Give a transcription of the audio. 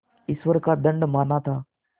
ईश्वर का दंड माना था